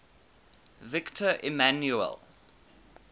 victor emmanuel